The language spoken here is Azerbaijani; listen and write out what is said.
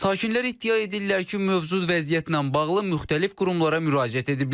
Sakinlər iddia edirlər ki, mövcud vəziyyətlə bağlı müxtəlif qurumlara müraciət ediblər.